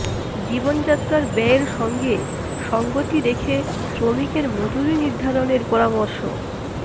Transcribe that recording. জীবনযাত্রার ব্যয়ের সঙ্গে সঙ্গতি রেখে শ্রমিকের মজুরি নির্ধারণের পরামর্শ